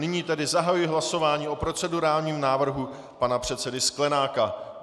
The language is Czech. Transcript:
Nyní tedy zahajuji hlasování o procedurálním návrhu pana předsedy Sklenáka.